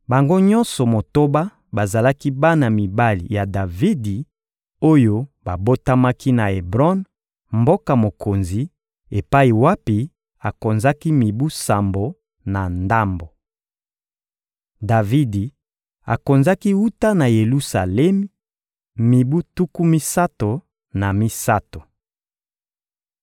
Bango nyonso motoba bazalaki bana mibali ya Davidi oyo babotamaki na Ebron, mboka mokonzi, epai wapi akonzaki mibu sambo na ndambo. Davidi akonzaki wuta na Yelusalemi mibu tuku misato na misato. (2Sa 5.14-16; 1Ma 14.4-7)